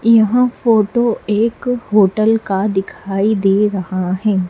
यहां फोटो एक होटल का दिखाई दे रहा है।